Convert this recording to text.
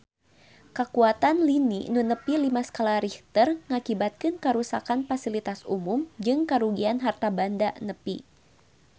Kakuatan lini nu nepi lima skala Richter ngakibatkeun karuksakan pasilitas umum jeung karugian harta banda nepi ka 5 juta rupiah